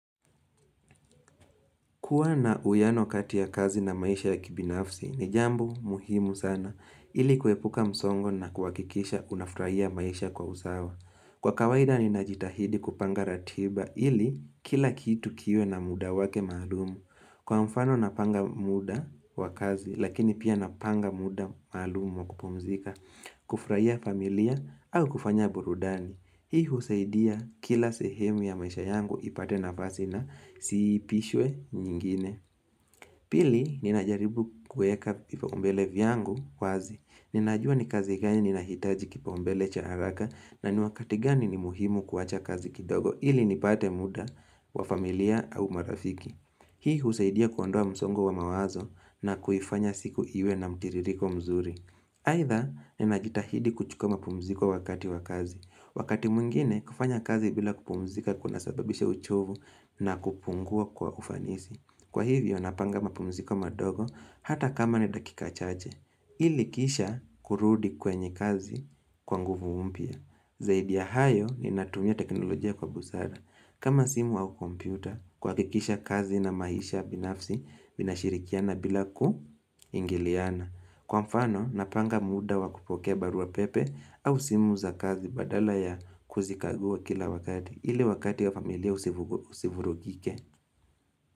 Kuwa na uwiano kati ya kazi na maisha ya kibinafsi ni jambo muhimu sana ili kuepuka msongo na kuhakikisha unafurahia maisha kwa usawa. Kwa kawaida ninajitahidi kupanga ratiba ili kila kitu kiwe na muda wake maalum. Kwa mfano napanga muda wa kazi lakini pia napanga muda maalum wa kupumzika, kufurahia familia au kufanya burudani. Hii husaidia kila sehemu ya maisha yangu ipate nafasi na isiipishwe nyingine Pili, ninajaribu kueka vipaumbele vyangu wazi Ninajua ni kazi gani ninahitaji kipaumbele cha haraka na ni wakati gani ni muhimu kuwacha kazi kidogo ili nipate muda wa familia au marafiki Hii husaidia kuondoa msongo wa mawazo na kuifanya siku iwe na mtiririko mzuri Aidha, ninajitahidi kuchukua mapumziko wakati wa kazi Wakati mwingine, kufanya kazi bila kupumzika kuna sababisha uchovu na kupungua kwa ufanisi. Kwa hivyo, napanga mapumziko madogo hata kama ni dakika chache. Ilikisha kurudi kwenye kazi kwa nguvu mpya. Zaidi ya hayo ninatumia teknolojia kwa busara. Kama simu au kompyuta, kuhakikisha kazi na maisha binafsi vinashirikiana bila kuingiliana. Kwa mfano, napanga muda wa kupokea baruapepe au simu za kazi badala ya kuzikagua kila wakati ili wakati ya familia usivurugike.